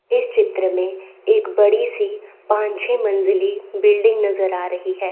इस चित्र में एक बड़ी सी पान छे मंजिली बिल्डिंग नजर आ रही है।